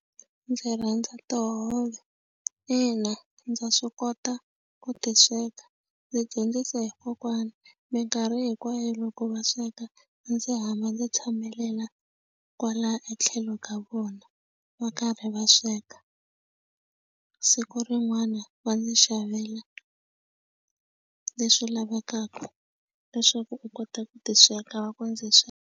Ndzi rhandza tihove, ina ndza swi kota ku ti sweka ndzi dyondzisiwe hi kokwana mikarhi hinkwayo loko va sweka a ndzi hamba ndzi tshamelela kwala etlhelo ka vona va karhi va sweka siku rin'wana va ndzi xavela leswi lavekaka leswaku u kota ku ti sweka va ku ndzi .